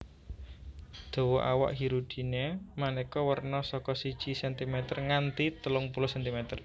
Dawa awak Hirudinea manéka werna saka siji sentimeter nganti telung puluh sentimer